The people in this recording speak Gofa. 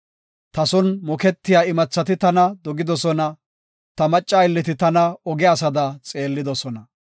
Ta son moketiya imathati tana dogidosona; ta macca aylleti tana oge asada xeellidosona.